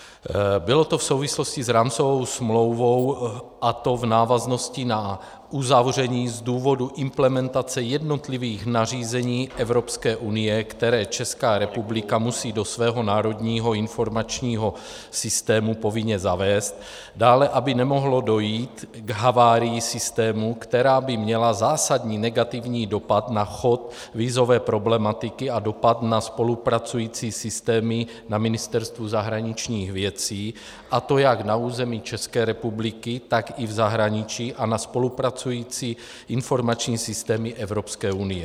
Bylo to v souvislosti s rámcovou smlouvou, a to v návaznosti na uzavření z důvodu implementace jednotlivých nařízení Evropské unie, která Česká republika musí do svého národního informačního systému povinně zavést, dále aby nemohlo dojít k havárii systému, která by měla zásadní negativní dopad na chod vízové problematiky a dopad na spolupracující systémy na Ministerstvu zahraničních věcí, a to jak na území České republiky, tak i v zahraničí, a na spolupracující informační systémy Evropské unie.